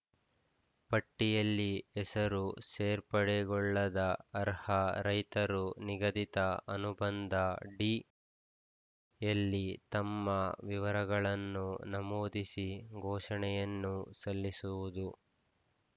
ಪಟ್ಟಿಯಲ್ಲಿ ಹೆಸರು ಸೇರ್ಪಡೆಗೊಳ್ಳದ ಅರ್ಹ ರೈತರು ನಿಗದಿತ ಅನುಬಂಧ ಡಿ ಯಲ್ಲಿ ತಮ್ಮ ವಿವರಗಳನ್ನು ನಮೂದಿಸಿ ಘೋಷಣೆಯನ್ನು ಸಲ್ಲಿಸುವುದು